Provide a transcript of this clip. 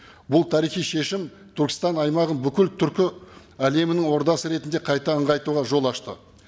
бұл тарихи шешім түркістан аймағын бүкіл түркі әлемінің ордасы ретінде қайта ыңғайтуға жол ашты